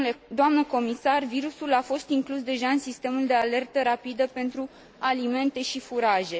Doamnă comisar, virusul a fost inclus deja în sistemul de alertă rapidă pentru alimente și furaje.